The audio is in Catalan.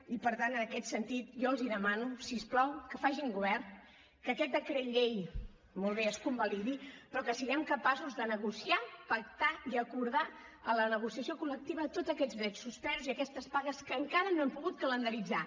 i per tant en aquest sentit jo els demano si us plau que facin govern que aquest decret llei molt bé es convalidi però que siguem capaços de negociar pactar i acordar a la negociació col·lectiva tots aquests drets suspesos i aquestes pagues que encara no hem pogut calendaritzar